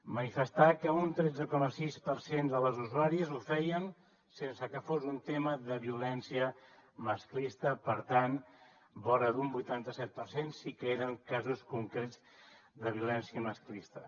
manifestar que un tretze coma sis per cent de les usuàries ho feien sense que fos un tema de violència masclista per tant vora d’un vuitanta set per cent sí que eren casos concrets de violència masclista